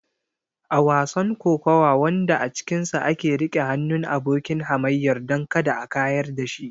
A wasan kokawa wanda a cikinsa ake riƙe hannun abokin hamayyar don kada a kayar da shi.